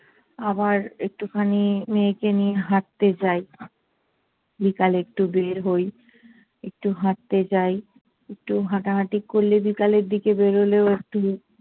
আবার একটুখানি মেয়েকে নিয়ে হাঁটতে যাই। বিকালে একটু বেড় হই, একটু হাঁটতে যাই। একটু হাঁটাহাঁটি করলে, বিকালের দিকে বেরোলেও একটু